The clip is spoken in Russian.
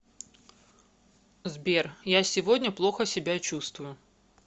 сбер я сегодня плохо себя чувствую